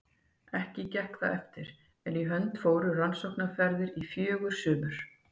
Ekki gekk það eftir, en í hönd fóru rannsóknaferðir í fjögur sumur.